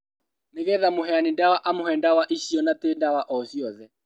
Nĩgetha mũheani ndawa amũhe ndawa icio na ti ndawa o ciothe